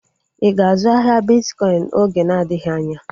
Ịga azụ ahịa bitkọin oge na-adịghị anya?